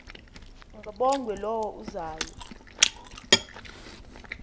kabongwe low uzayo